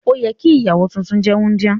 Òyẹ ki ìyàwó tuntun jẹ wundia.